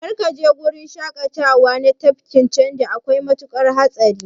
Kar kaje gurin shaƙatawa na tafkin Chadi, akwai matuƙar hatsari.